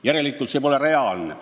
Järelikult pole see reaalne.